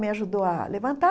Me ajudou a levantar.